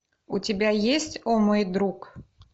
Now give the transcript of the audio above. у тебя есть о мой друг